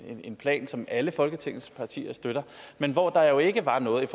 en plan som alle folketingets partier støtter men hvor der jo ikke var noget i